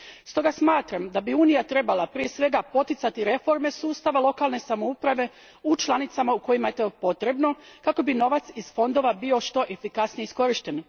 Stoga smatram da bi Unija prije svega trebala poticati reforme sustava lokalne samouprave u članicama u kojima je to potrebno kako bi novac iz fondova bio što efikasnije iskorišten.